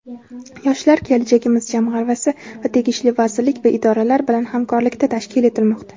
"Yoshlar - kelajagimiz" jamg‘armasi va tegishli vazirlik va idoralar bilan hamkorlikda tashkil etilmoqda.